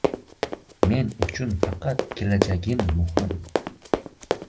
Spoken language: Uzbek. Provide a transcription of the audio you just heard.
Men uchun faqat kelajak muhim.